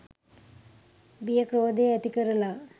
බිය ක්‍රෝධය ඇති කරලා